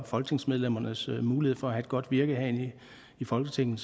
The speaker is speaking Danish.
folketingsmedlemmernes mulighed for at have et godt virke herinde i folketinget